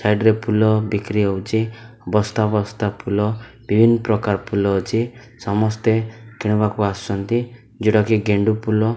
Side ରେ ଫୁଲ ବିକ୍ରି ହଉଛି ବସ୍ତା-ବସ୍ତା ଫୁଲ ବିଭିନ୍ନ ପ୍ରକାର ଫୁଲ ଅଛି ସମସ୍ତେ କିଣିବାକୁ ଆସୁଛନ୍ତି ଯୋଉଟା କି ଗେଣ୍ଡୁ ଫୁଲ।